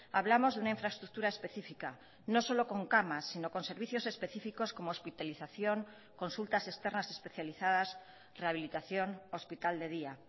hablamos de una infraestructura específica no solo con camas sino con servicios específicos como hospitalización consultas externas especializadas rehabilitación hospital de día